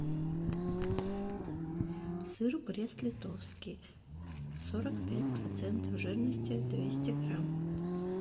сыр брест литовский сорок пять процентов жирности двести грамм